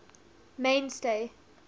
mainstay